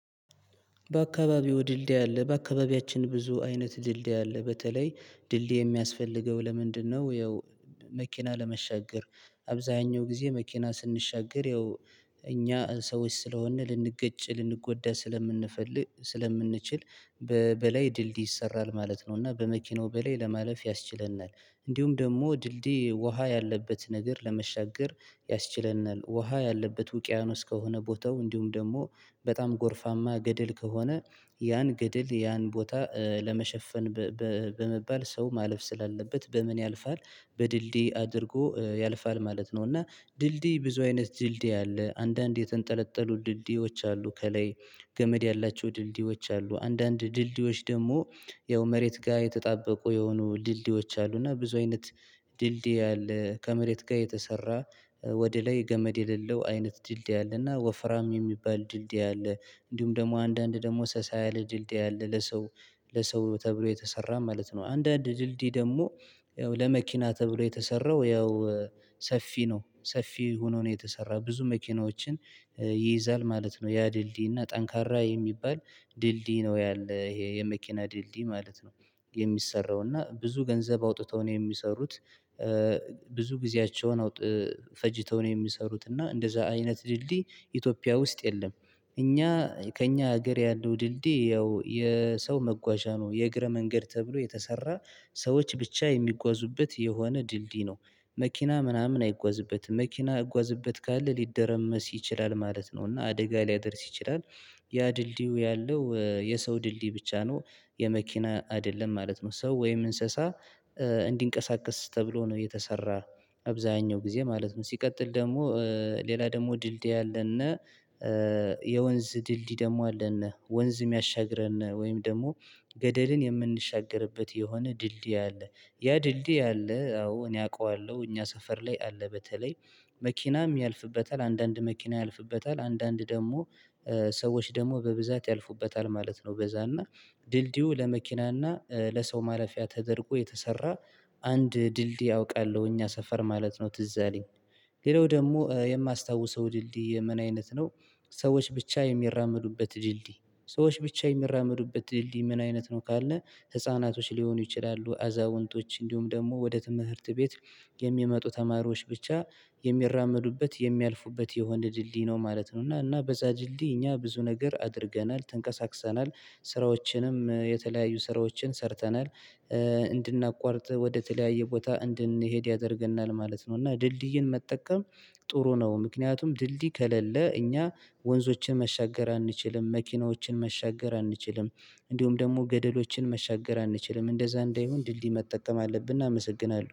በአካባቢው ድልድይ አለ በአካባቢያችን ብዙ አይነት ድልድይ አለ በተለይ ድልድይ የሚያስፈልገው ለምንድነው? ያው መኪና ለመሻገር አብዛኛው ጊዜ መኪና ስንሻገር ያው እኛ ሰዎች ስለሆንን ልንገጭ ልንጎዳ ስለምንፈልግ ስለምንችል በላይ ድልድይ ይሰራል ማለት ነው። እና በመኪናው በላይ ለማለፍ ያስችለናል እንዲሁም ደግሞ ድልድይ ውሃ ያለበት ነገር ለመሻገር ያስችለናል ውሃ ያለበት ውቅያኖስ ከሆነ ቦታው እንዲሁም ደግሞ በጣም ጎርፋማ ገደል ከሆነ ያን ገድል ያን ቦታ ለመሸፈን በመባል ሰው ማለፍ ስላለበት በምን ያልፋል በድልድይ አድርጎ ያልፋል ማለት ነው። እና ድልድይ ብዙ አይነት ድልድይ አለ አንዳንድ የተንጠለጠሉ ድልድዮች አሉ ከላይ ገመድ ያላቸው ድልድዮች አሉ አንዳንድ ድልድዮች ደግሞ ያው መሬት ጋር የተጣበቁ የሆኑ ድልድዮች አሉ እና ብዙ አይነት ድልድይ አለ። ከመሬት ጋር የተሰራ ወደ ላይ ገመድ የሌለው አይነት ድልድይ አለና ወፍራም የሚባል ድልድይ አለ እንዲሁም ደግሞ አንዳንድ ደግሞ ሰሳያለ ድልድይ ያለ ለሰው ለሰው ተብሎ የተሰራ ማለት ነው። አንዳንድ ድልድይ ደግሞ ያው ለመኪና ተብሎ የተሰራው ያው ሰፊ ነው ሰፊ ሆኖ ነው የተሰራው ብዙ መኪናዎችን ይይዛል ማለት ነው። ያ ድልድይ እና ጠንካራ የሚባል ድልድይ ነው። ያለ ይሄ የመኪና ድልድይ ማለት ነው የሚሰራው እና ብዙ ገንዘብ አውጥተው ነው የሚሰሩት ብዙ ጊዜያቸውን አውጥ ፈጅተው ነው የሚሰሩት እና እንደዛ አይነት ድልድይ ኢትዮጵያ ውስጥ የለም። እኛ ከእኛ ሀገር ያለው ድልድይ ያው የሰው መጓዣ ነው የእግረ መንገድ ተብሎ የተሰራ ሰዎች ብቻ የሚጓዙበት የሆነ ድልድይ ነው። መኪና ምናምን አይጓዝበትም መኪና ሊጓዝበት ካለ ሊደረመስ ይችላል ማለት ነው እና አደጋ ሊያደርስ ይችላል። ያ ድልድዩ ያለው የሰው ድልድይ ብቻ ነው። የመኪና አይደለም ማለት ነው ሰው ወይም እንስሳ እንዲንቀሳቀስ ተብሎ ነው የተሰራ። አብዛኛው ጊዜ ማለት ነው ሲቀጥል ደግሞ ሌላ ደግሞ ድልድይ አለና የወንዝ ድልድይ ደግሞ አለና ወንዝ የሚያሻግረን ወይም ደግሞ ገደልን የምንሻገርበት የሆነ ድልድይ አለ። ያ ድልድይ አለ አዎ እኔ አውቃለሁ እኛ ሰፈር ላይ አለ በተለይ መኪናም ያልፍበታል አንዳንድ መኪና ያልፍበታል አንዳንድ ደግሞ ሰዎች ደግሞ በብዛት ያልፉበታል ማለት ነው። በዛ እና ድልድዩ ለመኪና እና ለሰው ማለፊያ ተደርጎ የተሰራ። አንድ ድልድይ አውቃለሁ እኛ ሰፈር ማለት ነው ትዝ አለኝ። ሌላው ደግሞ የማስታውሰው ድልድይ ምን አይነት ነው? ሰዎች ብቻ የሚራመዱበት ድልድይ ሰዎች ብቻ የሚራመዱበት ድልድይ ምን አይነት ነው? ካለ ህፃናቶች ሊሆኑ ይችላሉ አዛውንቶች እንዲሁም ደግሞ ወደ ትምህርት ቤት የሚመጡ ተማሪዎች ብቻ የሚራመዱበት የሚያልፉበት የሆነ ድልድይ ነው ማለት ነው። እና እና በዛ ድልድይ እኛ ብዙ ነገር አድርገናል ተንቀሳቅሰናል ስራዎችንም የተለያዩ ስራዎችን ሰርተናል። እንድናቋርጥ ወደተለያየ ቦታ እንድንሄድ ያደርገናል ማለት ነው። እና ድልድይን መጠቀም ጥሩ ነው። ምክንያቱም ድልድይ ከሌለ እኛ ወንዞችን መሻገር አንችልም መኪናዎችን መሻገር አንችልም። እንዲሁም ደግሞ ገደሎችን መሻገር አንችልም እንደዛ እንዳይሆን ድልድይ መጠቀም አለብን። እናመሰግናለን